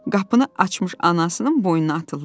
Qapını açmış anasının boynuna atıldı.